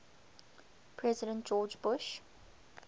president george bush